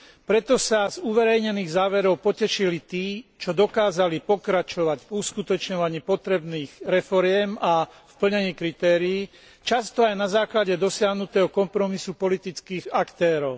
Preto sa z uverejnených záverov potešili tí, čo dokázali pokračovať v uskutočňovaní potrebných reforiem a plnení kritérií, často aj na základe dosiahnutého kompromisu politických aktérov.